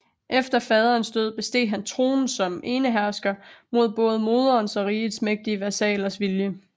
Efter faderens død besteg han tronen som enehersker mod både moderens og rigets mægtige vasallers vilje